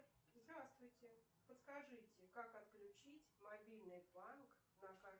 здравствуйте подскажите как отключить мобильный банк на